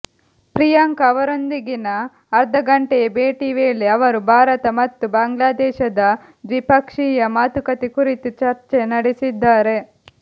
ಪ್ರಿಯಾಂಕಾ ಅವರೊಂದಿಗಿನ ಅರ್ಥಗಂಟೆಯ ಭೇಟಿ ವೇಳೆ ಅವರು ಭಾರತ ಮತ್ತು ಬಾಂಗ್ಲಾದೇಶದ ದ್ವಿಪಕ್ಷೀಯ ಮಾತುಕತೆ ಕುರಿತು ಚರ್ಚೆ ನಡೆಸಿದ್ದಾರೆ